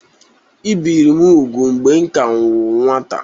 Ebìri m úgwù mgbe m ka bụ nwata